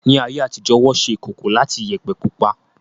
Ní ayé àtijó, Wọ́n ṣe ìkòkò láti Iyẹ̀pẹ̀ pupa